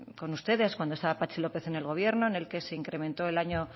con ustedes cuando estaba patxi lópez en el gobierno en el que se incrementó